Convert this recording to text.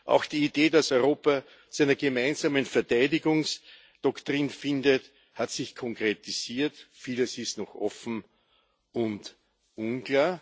Auch die Idee, dass Europa zu einer gemeinsamen Verteidigungsdoktrin findet, hat sich konkretisiert. Vieles ist noch offen und unklar.